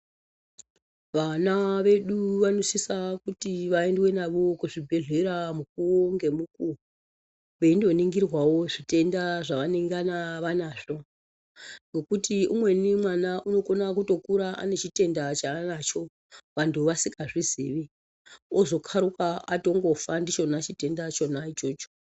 Vana vedu vanosiswe kuti vaendwe nawo kuzvibhedhlera mukuwo ngemukuwo weindoningirwao zvitenda zvawanengana wanazvo nekuti umweni mwana unokura utone chitenda chaanacho vanhu vasingazvizii azokaruka atofa nacho chitenda chonacho.